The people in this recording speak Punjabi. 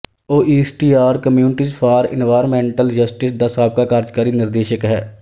ਉਹ East Yard Communities for Environmental Justice ਦਾ ਸਾਬਕਾ ਕਾਰਜਕਾਰੀ ਨਿਰਦੇਸ਼ਕ ਹੈ